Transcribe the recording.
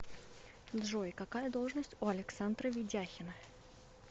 джой какая должность у александра ведяхина